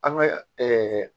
An ka